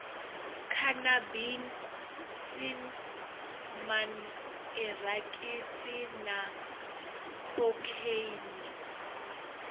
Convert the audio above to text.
khanabisi man irakisi na khokheini